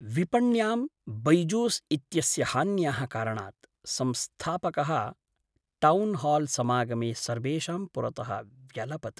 विपण्यां बैजूस् इत्यस्य हान्याः कारणात् संस्थापकः टौन्हाल्समागमे सर्वेषां पुरतः व्यलपत्।